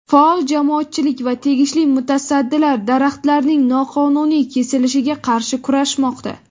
Faol jamoatchilik va tegishli mutasaddilar daraxtlarning noqonuniy kesilishiga qarshi kurashmoqda.